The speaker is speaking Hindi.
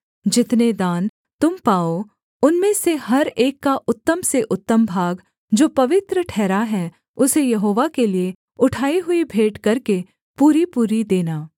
जितने दान तुम पाओ उनमें से हर एक का उत्तम से उत्तम भाग जो पवित्र ठहरा है उसे यहोवा के लिये उठाई हुई भेंट करके पूरीपूरी देना